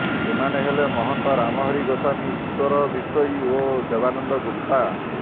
ଏମାନେ ହେଲେ ମହନ୍ତ ରାମହରି ଗୋସ୍ୱାମୀ ଇଶ୍ୱର ବିଷୋୟୀ ଓ ଦେବାନନ୍ଦ ଗୁପ୍ତା